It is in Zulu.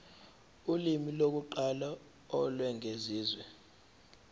ulimi lokuqala olwengeziwe